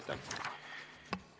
Aitäh!